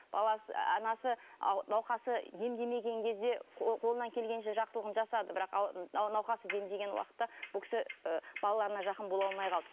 баласы анасы науқасы демдемеген кезде қолынан келгенше жақсылығын жасады бірақ науқасы демдеген уақытта бұл кісі і балаларына жақын бола алмай қалды